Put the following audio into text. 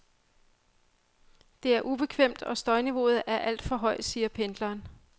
Det er ubekvemt, og støjniveauet er alt for højt, siger pendleren.